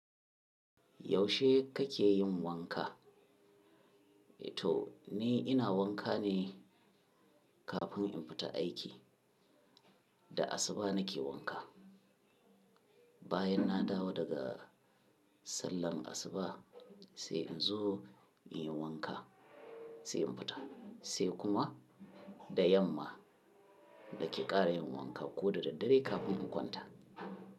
Yaushe kake yin wanka? To ni ina wanka ne kafin in fita aiki, da asuba nake wanka. Bayan na dawo daga sallar asuba sai inzo inyi wanka sai in fita, sai kuma da yamma nake ƙara yin wanka ko da daddare kafin in kwanta.